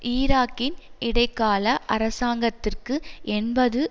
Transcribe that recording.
ஈராக்கின் இடைக்கால அரசாங்கத்திற்கு எண்பது